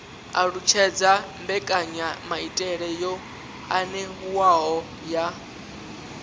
alutshedza mbekanyamaitele yo anavhuwaho ya